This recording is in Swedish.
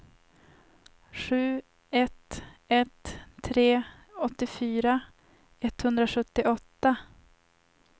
sju ett ett tre åttiofyra etthundrasjuttioåtta